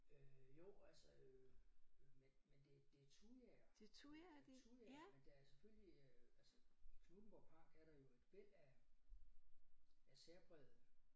Øh jo altså øh men men det det thujaer øh det thujaer men der er selvfølgelig øh i Knuthenborg park er der jo et væld af